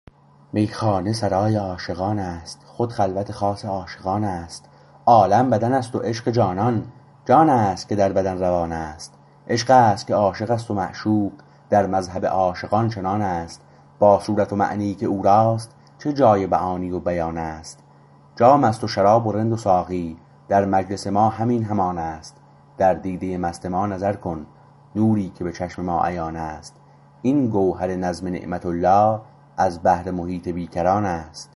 میخانه سرای عاشقان است خود خلوت خاص عاشقانست عالم بدن است و عشق جانان جان است که در بدن روانست عشقست که عاشق است و معشوق در مذهب عاشقان چنان است با صورت و معنیی که او راست چه جای معانی و بیان است جام است و شراب و رند و ساقی در مجلس ما همین همان است در دیده مست ما نظر کن نوری که به چشم ما عیان است این گوهر نظم نعمت الله از بحر محیط بیکران است